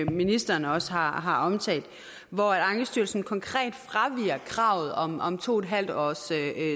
ministeren også har har omtalt hvor ankestyrelsen konkret fraviger kravet om om to en halv års